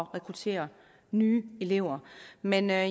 rekruttere nye elever men jeg